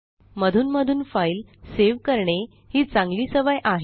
मधूनमधून file save करणे ही चांगली सवय आहे